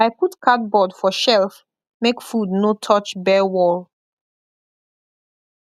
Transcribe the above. i put cardboard for shelf make food no touch bare wall